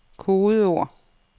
kodeord